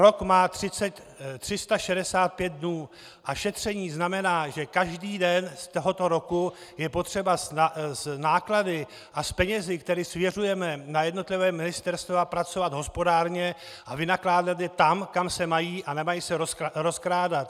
Rok má 365 dnů a šetření znamená, že každý den z tohoto roku je potřeba s náklady a s penězi, které svěřujeme na jednotlivá ministerstva, pracovat hospodárně a vynakládat je tam, kam se mají, a nemají se rozkrádat.